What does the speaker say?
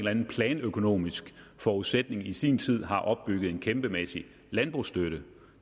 anden planøkonomisk forudsætning i sin tid har opbygget en kæmpemæssig landbrugsstøtte